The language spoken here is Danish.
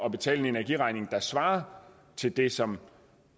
at betale en energiregning der svarer til det som